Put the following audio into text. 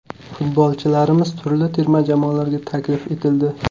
Futbolchilarimiz turli terma jamoalarga taklif etildi.